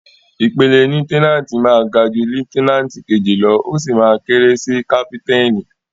Ìpele lieutẹ́náǹtì máa ga jú lieutẹ́náǹtì kejì lọ́, ó sì máa kéré sí kápítáìnì.